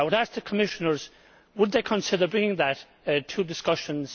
I would ask the Commissioners would they consider bringing that to discussions.